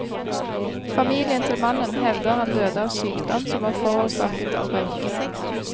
Familien til mannen hevder han døde av sykdom som var forårsaket av røyking.